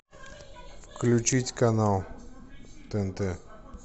включить канал тнт